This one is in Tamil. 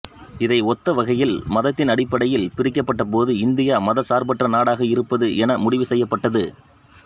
இதை ஒத்த வகையில் மதத்தின் அடிப்படையில் பிரிக்கப்பட்ட போதும் இந்தியா மதச்சார்பற்ற நாடாக இருப்பது என முடிவு செய்யப்பட்டது